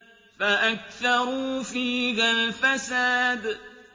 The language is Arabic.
فَأَكْثَرُوا فِيهَا الْفَسَادَ